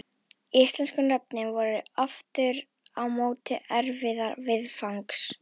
Íslensku nöfnin voru aftur á móti erfiðari viðfangs.